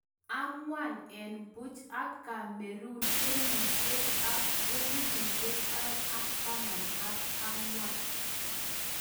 angwan en puch ak cameroon kenyishek ak elifushiek aeng ak taman ak angwan